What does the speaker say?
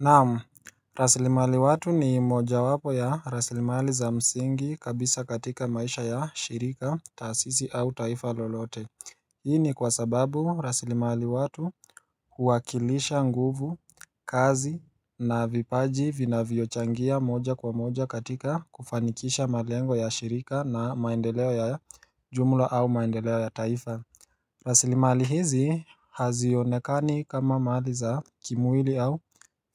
Naam rasilimali watu ni moja wapo ya rasilimali za msingi kabisa katika maisha ya shirika tasizi au taifa lolote Hii ni kwa sababu rasilimali watu huakilisha nguvu kazi na vipaji vinavyochangia moja kwa moja katika kufanikisha malengo ya shirika na maendeleo ya jumla au maendeleo ya taifa rasilimali hizi hazionekani kama madhi za kimwili au